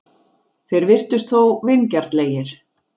Þeir virtust þó vingjarnlegir.